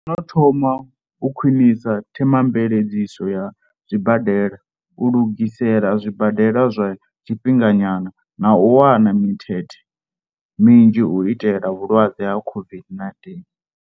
Ro no thoma u khwinisa themamveledziso ya zwibadela, u lugisela zwibadela zwa tshifhinganyana na u wana mimbete minzhi u itela vhalwadze vha COVID-19.